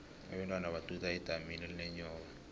abentwana baduda edamini elinenyoka